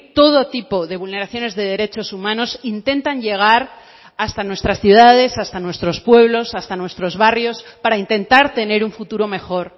todo tipo de vulneraciones de derechos humanos intentan llegar hasta nuestras ciudades hasta nuestros pueblos hasta nuestros barrios para intentar tener un futuro mejor